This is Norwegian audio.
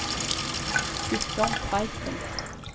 Guttorm Tveiten